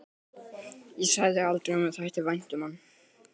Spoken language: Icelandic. Ég sagði aldrei að mér þætti vænt um hann.